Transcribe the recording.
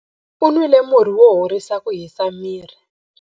U nwile murhi wo horisa ku hisa miri.